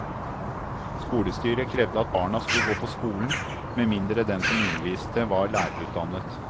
Skolestyret krevde at barna skulle gå på skolen, med mindre den som underviste var lærerutdannet.